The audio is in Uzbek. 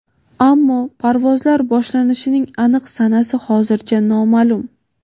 ammo parvozlar boshlanishining aniq sanasi hozircha noma’lum.